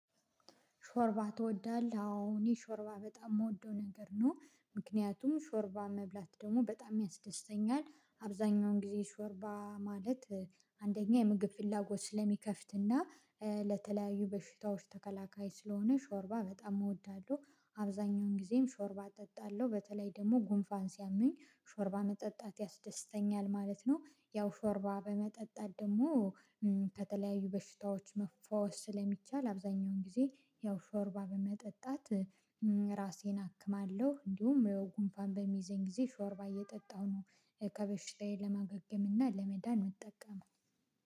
ሾርባ ትወዳለህ አዎ እኔ ሾርባ በጣም የምወደው ነገር ነው ምክንያቱም ሾርባ መብላት ደግሞ በጣም ያስደስተኛል። አብዛኛውን ጊዜ ሾርባ ማለት አንደኛ የምግብ ፍላጎት ስለሚከፍትና ለተለያዩ በሽታዎች ተከላካይ ስለሆነ ሾርባ በጣም እወዳለሁ። አብዛኛውን ጊዜም ሾርባ እጠጣለሁ በተለይ ደግሞ ጉንፋን ሲያመኝ ሾርባ መጠጣት ያስደስተኛል ማለት ነው። ያው ሾርባ በመጠጣት ደግሞ ከተለያዩ በሽታዎች መፈወስ ስለሚቻል አብዛኛውን ጊዜ ያው ሾርባ በመጠጣት ራሴን አክማለሁ። እንዲሁም ጉንፋን በሚዘኝ ጊዜ ሾርባ እየጠጣሁ ነው ከበሽታዬ ለማገገም እና ለመዳን ምጠቀመው።